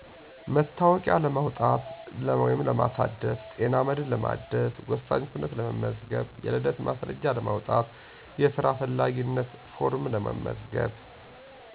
መታወቂያ ለማውጣት(ለማሳደስ)፣ጤና መድን ለማደስ፣ ወሳኝ ኩነት ለመመዝገብ የልደት ማስረጃ ለማውጣት፣ የስራ ፈላጊነት ፎርም ለመመዝገብ